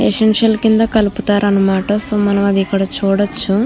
Essential కింద కలుపుతారనమాట. So మనము అది ఇక్కడ చూడొచ్చు.